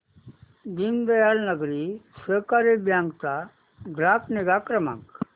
दीनदयाल नागरी सहकारी बँक चा ग्राहक निगा क्रमांक